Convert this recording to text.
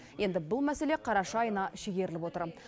енді бұл мәселе қараша айына шегеріліп отыр